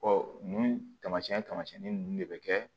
nunnu taamasiyɛn tamasiɲɛnnin ninnu de bɛ kɛ